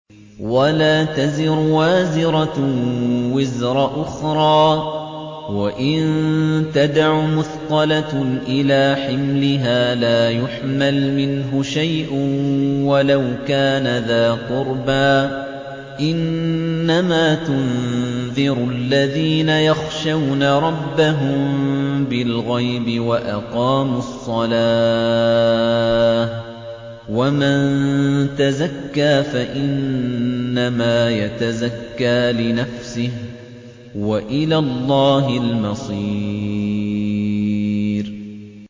وَلَا تَزِرُ وَازِرَةٌ وِزْرَ أُخْرَىٰ ۚ وَإِن تَدْعُ مُثْقَلَةٌ إِلَىٰ حِمْلِهَا لَا يُحْمَلْ مِنْهُ شَيْءٌ وَلَوْ كَانَ ذَا قُرْبَىٰ ۗ إِنَّمَا تُنذِرُ الَّذِينَ يَخْشَوْنَ رَبَّهُم بِالْغَيْبِ وَأَقَامُوا الصَّلَاةَ ۚ وَمَن تَزَكَّىٰ فَإِنَّمَا يَتَزَكَّىٰ لِنَفْسِهِ ۚ وَإِلَى اللَّهِ الْمَصِيرُ